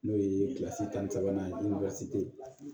N'o ye tan ni sabanan ye